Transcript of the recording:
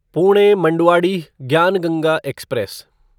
Pune Manduadih Gyan Ganga express